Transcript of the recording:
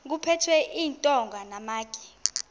kuphethwe iintonga namatye